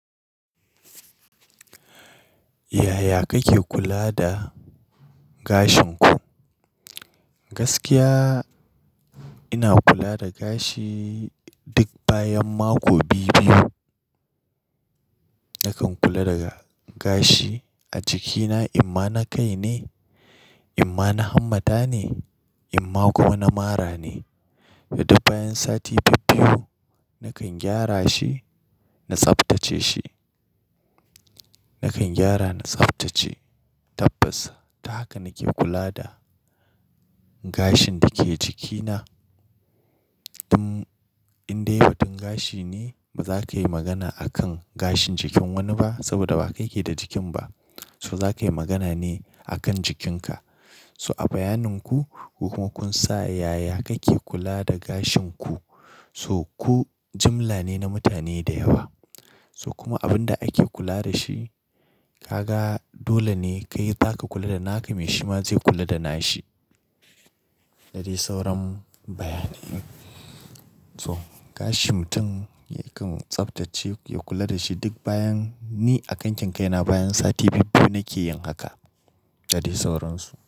Yaya kake kula da gashin ku? Gaskiya, ina kula da gashi duk bayan mako biyu-biyu. Nakan kula da gashi a jikina, imma na kai ne, imma na hannata ne, imma kuma na mara ne. Da duk bayan sati biyu-biyu, nakan gyara shi, na tsaftace shi. Nakan gyara na tsaftace tabbas. Ta haka nake kula da gashin da ke jikina. Tun in dai batun gashi ne, ba za ka yi magana a kan gashin jikin wani ba saboda ba kai ke da jikin ba. So za ka yi magana ne a kan jikinka. So a bayanin ku, ku kuma kun sa yaya kake kula da gashin ku. So ku jimla ne na mutane da yawa. So kuma abin da ake kula da shi, ka ga dole ne kai, za ka kula da naka, mai shi ma zai kula da nashi. Da dai sauran bayani. So gashi mutum yakan tsaftace, ya kula da shi duk bayan, ni a kan kinkaina bayan sati biyu-biyu nake yin haka da dai sauransu.